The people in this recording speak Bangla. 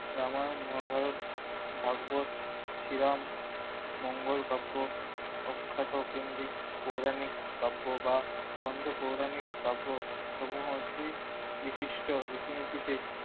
রামায়ণ মহাভারত ভাগবোধ শ্রীরাম মঙ্গলকাব্য অক্ষাত পিণ্ডি পুরাণিক কাব্য বা ছন্দ পৌরাণিক কাব্যসমূহ জিদ বিশিষ্ট রীতিনীতিকে